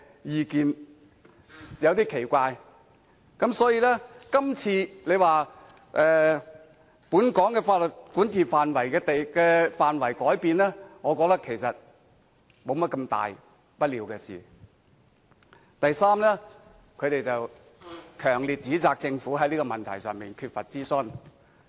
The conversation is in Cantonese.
我感到有點奇怪。所以，今次有人說本港法律的管轄範圍改變，我覺得其實沒甚麼大不了；及第三，他們強烈指責政府在這個問題上缺乏諮詢。